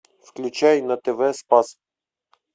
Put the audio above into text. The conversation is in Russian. включай на тв спас